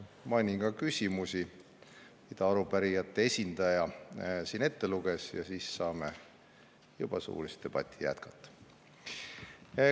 Mainin ka küsimusi, mis arupärijate esindaja siin ette luges, ja siis saame juba suulist debatti jätkata.